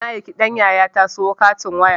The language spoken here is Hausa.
Na aiki ɗan yayata sayo katin waya